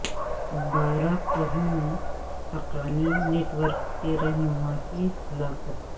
بارہ کہو میں حقانی نیٹ ورک کے رہنما کی ہلاکت